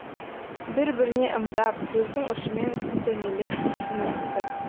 бір біріне ымдап көздің ұшымен сілтемелеп түсіністі